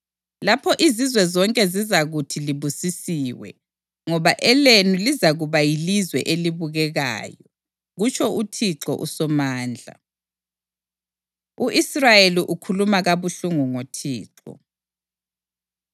“Lapho izizwe zonke zizakuthi libusisiwe, ngoba elenu lizakuba yilizwe elibukekayo,” kutsho uThixo uSomandla. U-Israyeli Ukhuluma Kabuhlungu NgoThixo